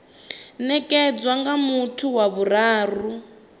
nekedzwa nga muthu wa vhuraru